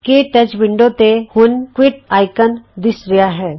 ਕੇ touch window ਤੇ ਹੁਣ quit icon ਦਿੱਸ ਰਿਹਾ ਹੈ